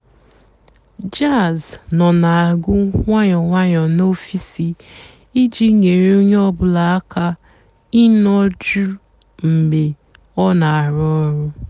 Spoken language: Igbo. jàzz nọ́ nà-àgù ǹwànyọ́ ǹwànyọ́ n'ọ̀fị́sì ìjì nyééré ónyé ọ̀ bụ́là àká ịnọ́ jụ́ụ́ mg̀bé ọ́ nà-àrụ́ ọ̀rụ́.